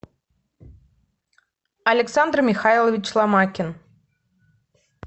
александр михайлович ломакин